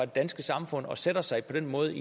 danske samfund og stiller sig på den måde